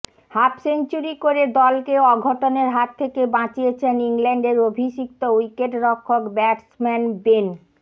half century করে দলকে অঘটনের হাত থেকে বাঁচিয়েছেন ইংল্যান্ডের অভিষিক্ত উইকেটরক্ষক ব্যাটসম্যান বেন